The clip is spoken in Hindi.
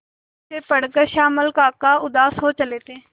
जिसे पढ़कर श्यामल काका उदास हो चले थे